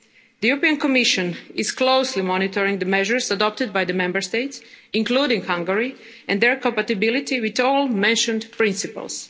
highlighted. The European Commission is closely monitoring the measures adopted by the Member States, including Hungary, and their compatibility with all the mentioned